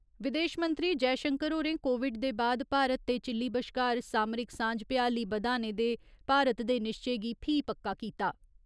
विदेश मंत्रीविदेश मंत्री जयशंकर होरें कोविड दे बाद भारत ते चिल्ली बश्कार सामरिक सांझ भ्याली बदाने दे भारत दे निश्चय गी फ्ही पक्का कीता।